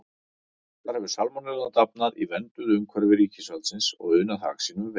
Þar hefur salmonellan dafnað í vernduðu umhverfi ríkisvaldsins og unað hag sínum vel.